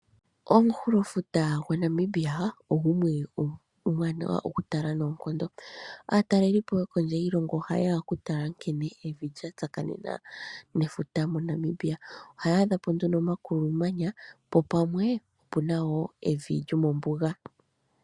Omunkulofuta gwaNamibia ogo gumwe omuwanawa okutala noonkondo. Aatalelipo yo kondje yiilongo ohaye ya okutala nkene evi lya tsakanena nefuta moNamibia ohaya adha po nduno omakulumanya po pamwe opu na wo evi lyomombuga.